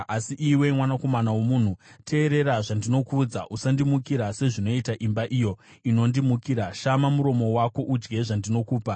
Asi iwe, mwanakomana womunhu, teerera zvandinokuudza. Usandimukira sezvinoita imba iyo inondimukira; shama muromo wako udye zvandinokupa.”